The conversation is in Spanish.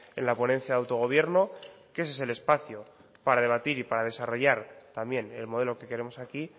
en la ponencia de autogobierno que ese es el espacio para debatir y para desarrollar también el modelo que queremos aquí